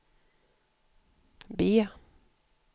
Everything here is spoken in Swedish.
B